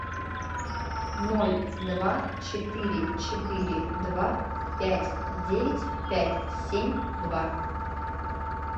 ноль два четыре четыре два пять девять пять семь два